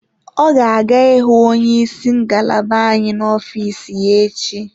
O ga-aga ịhụ onye isi ngalaba anyị n'ofiis ya echi.